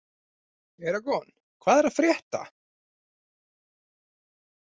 Eragon, hvað er að frétta?